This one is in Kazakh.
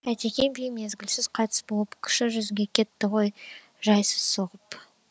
әйтеке би мезгілсіз қайтыс болып кіші жүзге кетті ғой жайсыз соғып